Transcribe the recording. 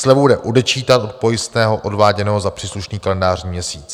Slevu jde odečítat od pojistného odváděného za příslušný kalendářní měsíc.